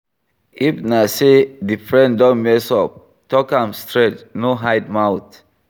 If na sey di friend don mess up talk am straight no hide mouth